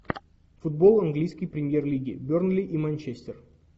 футбол английской премьер лиги бернли и манчестер